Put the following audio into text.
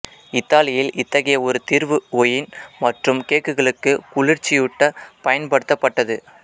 இத்தாலியில் இத்தகைய ஒரு தீர்வு ஒயின் மற்றும் கேக்குகளுக்கு குளிர்ச்சியுட்ட பயன்படுத்தப்பட்டது